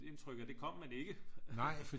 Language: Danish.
Indtryk at det kom man ikke